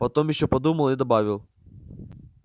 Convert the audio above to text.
потом ещё подумал и добавил